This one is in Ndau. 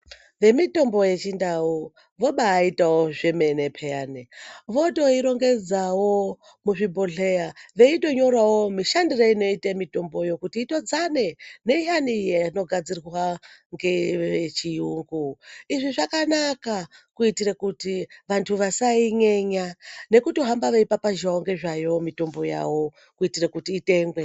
Ve mitombo ye chindau vobaitawo zvemene peyani votoi rongedzavo muzvi bhodhleya veito nyorawo mushandire inoite mitomboyo kuti itodzane ne iyani inogadzirwa ngeve chiyungu izvi zvakanaka kuitire kuti vantu vasai nyenya nekuto hamba vei papazhawo ngezvayo mitombo yavo kuitira kuti itengwe.